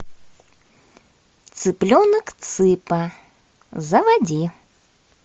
цыпленок цыпа заводи